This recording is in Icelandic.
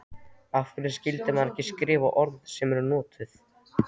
Af hverju skyldi maður ekki skrifa orð sem eru notuð?